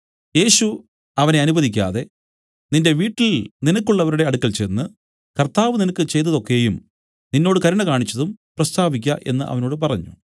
യേശു അവനെ അനുവദിക്കാതെ നിന്റെ വീട്ടിൽ നിനക്കുള്ളവരുടെ അടുക്കൽ ചെന്ന് കർത്താവ് നിനക്ക് ചെയ്തതു ഒക്കെയും നിന്നോട് കരുണ കാണിച്ചതും പ്രസ്താവിക്ക എന്നു അവനോട് പറഞ്ഞു